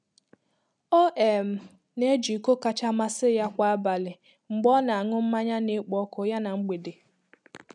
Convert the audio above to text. Ọ um na eji iko kacha masi ya kwa abali mgbe ọna ańụ mmanya na ekpo-ọkụ ya na mgbede